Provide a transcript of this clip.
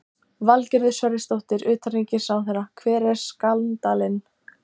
Valgerður Sverrisdóttir, utanríkisráðherra: Hver er skandallinn?